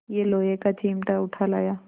यह लोहे का चिमटा उठा लाया